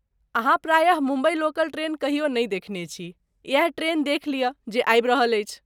अहाँ प्रायः Mumbai local train कहियो नहि देखने छी, इएह ट्रेन देखि लियऽ जे आबि रहल अछि।